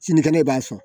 Sinikɛnɛ i b'a sɔn